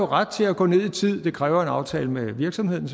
ret til at gå ned i tid det kræver selvfølgelig en aftale med virksomheden